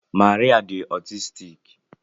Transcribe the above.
Maria di otistiki